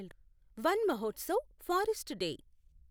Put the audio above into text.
one Mahotsav forest day